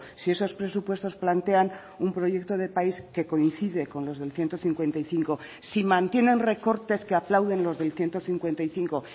si esos presupuestos plantean un proyecto de país que coincide con los del ciento cincuenta y cinco si mantienen recortes que aplauden los del ciento cincuenta y cinco